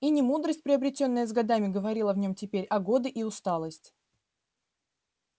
и не мудрость приобретённая с годами говорила в нём теперь а годы и усталость